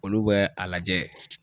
Olu bɛ a lajɛ.